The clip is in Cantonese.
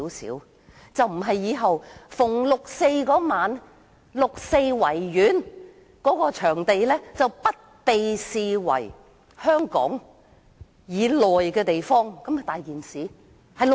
否則，以後每逢6月4日，維園便不被視為香港以內的部分，豈非出大事？